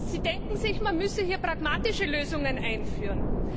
Sie denken, man müsse hier pragmatische Lösungen einführen.